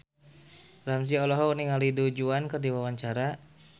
Ramzy olohok ningali Du Juan keur diwawancara